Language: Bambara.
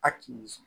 A ti sɔn